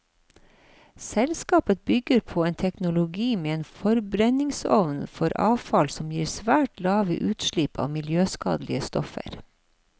Selskapet bygger på en teknologi med en forbrenningsovn for avfall som gir svært lave utslipp av miljøskadelige stoffer.